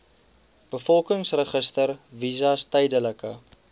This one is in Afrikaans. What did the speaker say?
bevolkingsregister visas tydelike